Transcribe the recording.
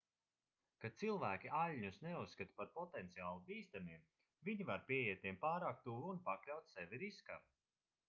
kad cilvēki aļņus neuzskata par potenciāli bīstamiem viņi var pieiet tiem pārāk tuvu un pakļaut sevi riskam